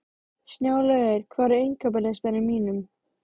Snjólaugur, hvað er á innkaupalistanum mínum?